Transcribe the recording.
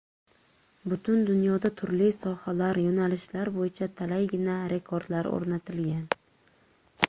Butun dunyoda turli sohalar, yo‘nalishlar bo‘yicha talaygina rekordlar o‘rnatilgan.